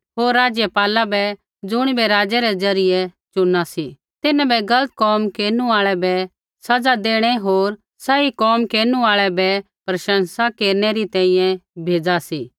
होर राज़पाला बै ज़ुणिबै राजा रै ज़रियै चुना सी तिन्हां बै गलत कोम केरनु आल़ै बै सज़ा देणै होर सही कोम केरनु आल़ै बै प्रशँसा केरनै री तैंईंयैं भेज़ा सी